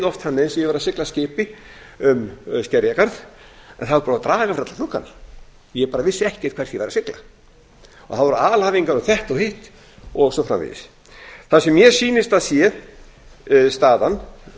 oft þannig eins og ég væri að sigla skipi um skerjafjörð en það var búið að draga fyrir alla gluggana ég bara vissi ekkert hvert ég var að sigla það voru alhæfingar um þetta og hitt og svo framvegis það sem mér sýnist að sé staðan